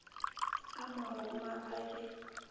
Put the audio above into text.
a mo roma ba be